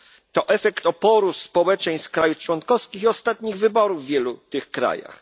To efekt oporu społeczeństw krajów członkowskich i ostatnich wyborów w wielu tych krajach.